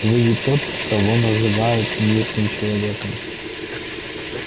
вы ведь тот кого называют мирным человеком